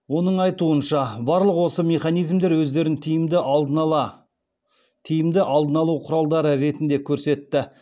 оның айтуынша барлық осы механизмдер өздерін тиімді алдын алу құралдары ретінде көрсетті